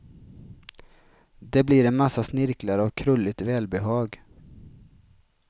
Det blir en massa snirklar av krulligt välbehag.